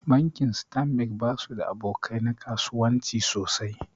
Bankin stanbik basu da aboka nan kasuwanci sosai.